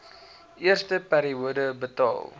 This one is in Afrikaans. eerste periode betaal